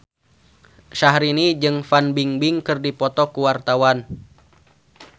Syahrini jeung Fan Bingbing keur dipoto ku wartawan